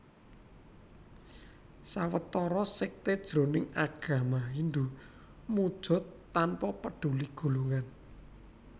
Sawetara sékté jroning agama Hindhu muja tanpa peduli golongan